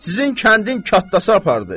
Sizin kəndin kattası apardı.